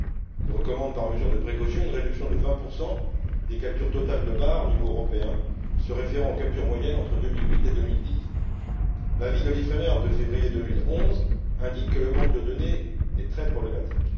Il recommande, par mesure de précaution, une réduction de 20 des captures totales de bars au niveau européen, se référant aux captures moyennes entre 2008 et 2010. L'avis de l'Ifremer de février2011 indique que le manque de données est très problématique.